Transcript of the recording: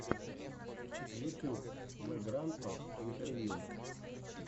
ютьюб вэграндпа интервью